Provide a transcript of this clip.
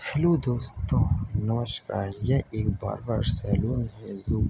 hello दोस्तों नमस्कार यह एक बार्बर सलून है जो --